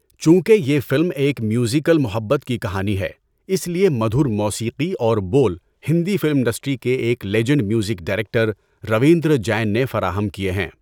چونکہ یہ فلم ایک میوزیکل محبت کی کہانی ہے، اس لیے مدھر موسیقی اور بول ہندی فلم انڈسٹری کے ایک legend music director Ravindra Jain نے فراہم کیے ہیں۔